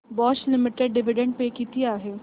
Bosch limited dividend pay किती आहे